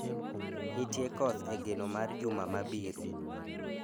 Nitie koth e geno mar juma mabiro